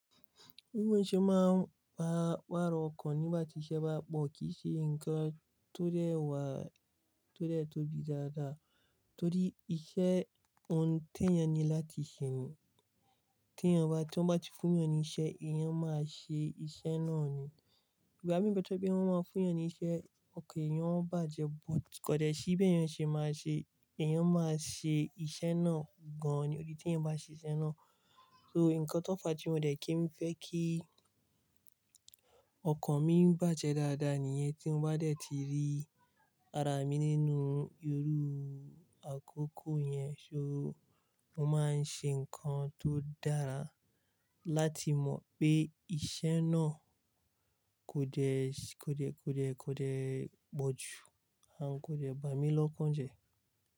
Bi mo ṣẹ́ máa ń pa pàrọ̀ ọkàn nígbà tí iṣẹ́ bá pọ̀. Kì í ṣe nǹkan tó dẹ́ ẹ wá, tó dẹ́ ẹ tóbi dáadáa torí iṣẹ́ ọ̀tún tẹ̀ yan ni láti ṣè nìyẹn. Tí wọ́n bá ti fún'yan ni iṣẹ́, èèyàn máa ṣe iṣẹ́ náà ni. Ìgbà mí nbe to je pẹ̀ wọ́n máa fún'yan niṣẹ́, ọkàn èèyàn ó bàjẹ́, but kọ̀dẹ́ sì bí èèyàn ṣe máa ṣe, èèyàn máa ṣe iṣẹ́ náà gan-an ni. Orí tí èèyàn bá ṣe iṣẹ́ náà, so nǹkan tó fàá tí mo dẹ̀ kí n fẹ́ kí ọkàn mi bàjẹ́ dáadáa nìyẹn. Tí mo bá dẹ̀ ti rí ara mi nínú irú àkókò yẹn, so mo máa ń ṣe nǹkan tó dára láti mọ̀ pé iṣẹ́ náà kò dẹ̀, kò dẹ̀, kò dẹ̀, kò dẹ̀ pọ̀jù, à kò dẹ̀ bà mí lọ́kàn jẹ.